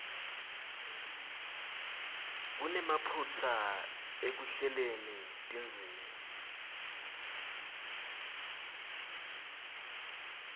kunemaphutsa ekuhleleni tindzima